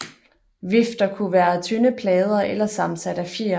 Vifter kunne være af tynde plader eller sammensat af fjer